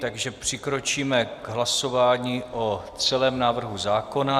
Takže přikročíme k hlasování o celém návrhu zákona.